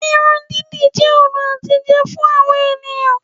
Irun dídì jẹ́ ọ̀nà àtijẹ fún àwọn ènìyàn